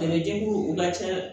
A bɛ denw u ka ca